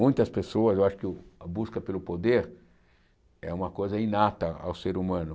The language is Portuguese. Muitas pessoas, eu acho que o a busca pelo poder é uma coisa inata ao ser humano.